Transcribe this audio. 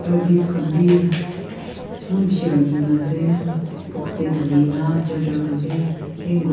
earpiece khan bi eman bishi rakhinaase box tae dhalina charger khan bi--